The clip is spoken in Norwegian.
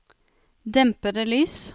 dempede lys